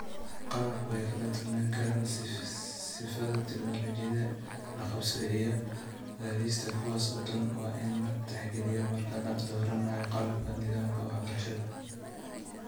Qalabku way ku kala duwanaan karaan sifada, tignoolajiyada, la qabsiga, iyo gaadhista, kuwaas oo dhan waa in la tixgeliyo marka la dooranayo qalabka nidaamka waxbarashada.